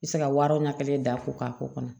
I bɛ se ka waraw ɲɛ kelen da ko k'a k'o kɔnɔ